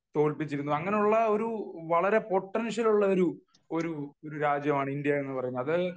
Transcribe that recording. തോൽപ്പിച്ചിരുന്നു . അങ്ങനെയുള്ള വളരെ പൊട്ടൻഷ്യൽ ഉള്ള ഒരു രാജ്യമാണ് ഇന്ത്യ എന്ന് പറയുന്നത് അത്